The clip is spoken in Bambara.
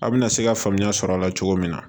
A bɛna se ka faamuya sɔrɔ a la cogo min na